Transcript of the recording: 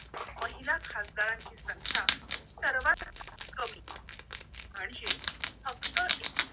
महिला खासदारांची संख्या सर्वात कमी म्हणजे फक्त एक